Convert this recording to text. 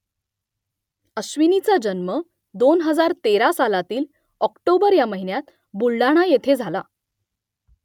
अश्विनीचा जन्म दोन हजार तेरा सालातील ऑक्टोबर या महिन्यात बुलढाणा येथे झाला